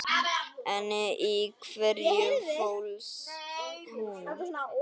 En í hverju fólst hún?